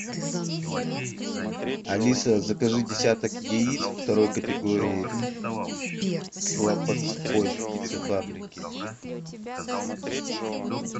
алиса закажи десяток яиц второй категории слободской птицефабрики